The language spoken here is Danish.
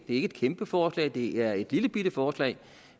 ikke et kæmpe forslag det er et lillebitte forslag